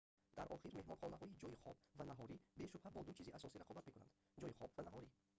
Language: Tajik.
дар охир меҳмонхонаҳои ҷойи хоб ва наҳорӣ бешубҳа бо ду чизи асосӣ рақобат мекунанд ҷойи хоб ва наҳорӣ